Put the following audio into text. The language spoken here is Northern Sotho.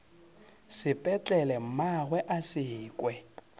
sepetlele mmagwe a se kwe